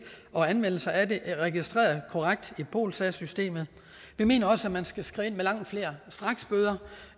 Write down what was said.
og anmeldelser af dem registreret korrekt i polsas systemet vi mener også at man skal skride ind med langt flere straksbøder